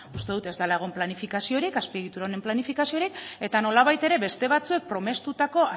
uste dut ez dela egon planifikaziorik azpiegitura honen planifikaziorik eta nolabait ere beste batzuek promestutako